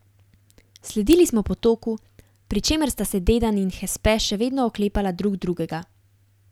Sledili smo potoku, pri čemer sta se Dedan in Hespe še vedno oklepala drug drugega.